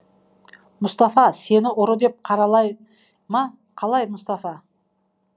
мұстафа сені ұры деп қаралай ма қалай мұстафа